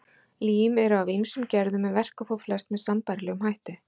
Lím eru af ýmsum gerðum en verka þó flest með sambærilegum hætti.